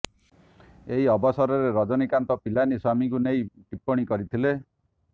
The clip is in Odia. ଏହି ଅବସରରେ ରଜନୀକାନ୍ତ ପିଲାନୀ ସ୍ୱାମୀଙ୍କୁ ନେଇ ଟିପ୍ପଣୀ କରିଥିଲେ